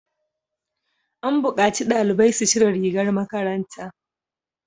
An bukaci dalibai su cire rigar makaranta!